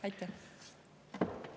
Aitäh!